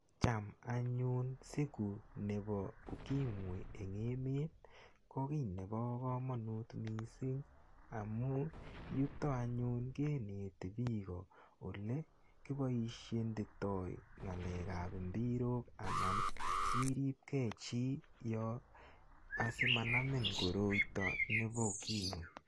Cham anyun siku nebo UKIMWI eng emet, ko kiy nebo komonut mising amun yukok anyun kineti piiko olekiboishoitoi ng'alekab mbirok anan iripkei chi asimanamin koroito nebo UKIMWI.